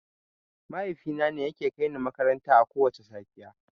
Mahaifina ne yake kaini makaranta akowacce safiya.